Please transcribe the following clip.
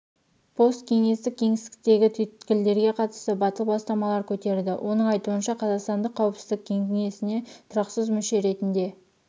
посткеңестік кеңістіктегі түйткілдерге қатысты батыл бастамалар көтерді оның айтуынша қазақстанды қауіпсіздік кеңесіне тұрақсыз мүше ретінде